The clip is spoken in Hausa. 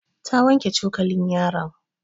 Ta wanke cokalin yaron.